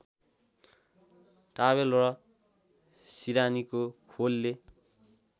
towel र सिरानीको खोलले